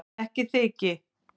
Ekki þyki